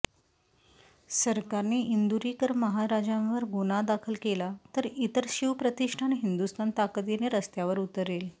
सरकारने इंदुरीकर महाराजांवर गुन्हा दाखल केला तर शिवप्रतिष्ठान हिंदुस्थान ताकदीने रस्त्यावर उतरेल